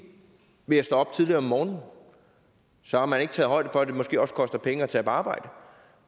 ved at stå op tidligt om morgenen og så har man ikke taget højde for at det måske også koster penge at tage på arbejde